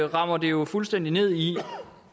rammer det jo fuldstændig ned i